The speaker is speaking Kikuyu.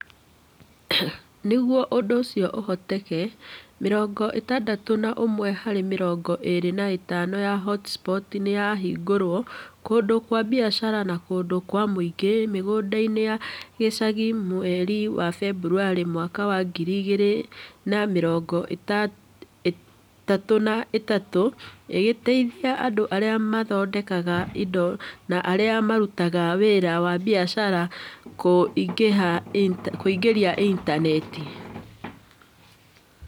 Nĩguo ũndũ ũcio ũhoteke, mĩrongo ĩtandatũ na ũmwe harĩ mĩrongo ĩĩrĩ na ĩtano ya hotspots nĩ yahingũrĩtwo kũndũ kwa biacara na kũndũ kwa mũingĩ mĩgũnda-inĩ ya gĩcagi mweri wa Februarĩ mwaka wa ngiri igĩrĩ na mĩrongo ĩtatũ na ĩtatũ, ĩgĩteithia andũ arĩa mathondekaga indo na arĩa marutaga wĩra wa biacara kũingĩra Intaneti-inĩ.